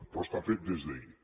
però està fet des d’ahir